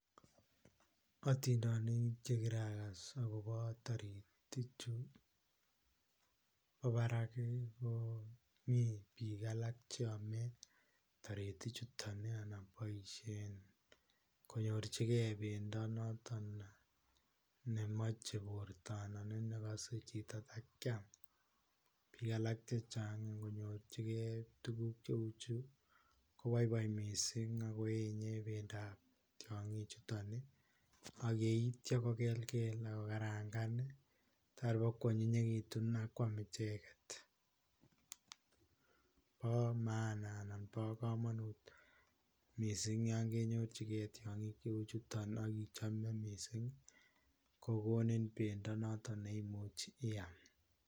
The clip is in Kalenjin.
Atindeniik che kiragas agobo taritiik chuu bo baraak ko Mii biik cheame taritiik chutoon akobaisheen konyoorjigei bendo notoon memachei borto anan ii ko nekasei chitoo takiam ,biik alaak chechaang ingonyorjjgei tuguuk che uu chuu kobaibait missing akoenyei tiangiik chutoon ii ak yeityaa Kobel ako karangaan ako ko anyinyegituun ako yaan icheeget, bo maana anan bo kamanut missing yaan kenyorjigei tiangiik che uu chutoon ii anan cham ko Missing kokonin bendo notoon neimuchii iyaam.